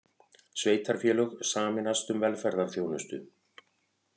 Sveitarfélög sameinast um velferðarþjónustu